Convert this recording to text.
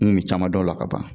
N ŋu me caman dɔn o la ka ban